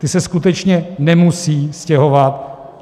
Ti se skutečně nemusí stěhovat.